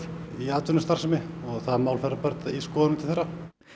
í atvinnustarfsemi það mál fer í skoðun til þeirra